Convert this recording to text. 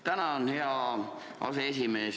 Tänan, hea aseesimees!